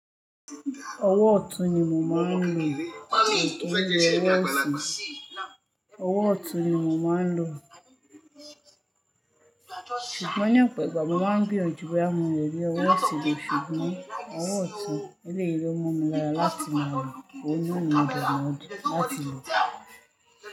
Ọwọ́ ọ̀tún ni mo máa ń lò mi ó ki n ló ọwọ ósi Owó ọ̀tún ni mo máa ń lò. Ṣùgbọ́n ní ọ̀pọ igba mo mà ń gbíyánjú bọyá mó lé ri owó ọ̀tún ló ṣúgbón owó ọ̀tún eléyi ló mọ mi lára láti máa lò oún ná ni mó ní láti lò.